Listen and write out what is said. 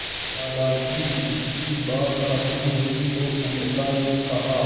दादाजी की बात खत्म हुई तो अमृता ने कहा